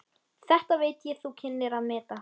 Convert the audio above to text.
Þetta veit ég þú kynnir að meta.